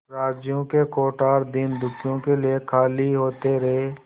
राज्य के कोठार दीनदुखियों के लिए खाली होते रहे